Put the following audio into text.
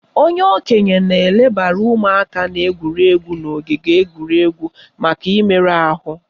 Onye okenye na-elebara ụmụaka na-egwuri egwu n'ogige egwuregwu maka imerụ ahụ